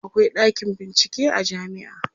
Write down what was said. akwai ɗakin bincike a jamia